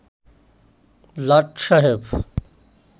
লাট সাহেব